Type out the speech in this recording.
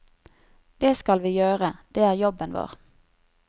Det skal vi gjøre, det er jobben vår.